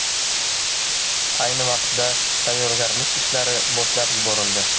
Ayni vaqtda tayyorgarlik ishlari boshlab yuborildi.